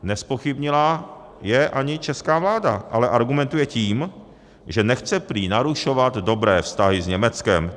Nezpochybnila jej ani česká vláda, ale argumentuje tím, že nechce prý narušovat dobré vztahy s Německem.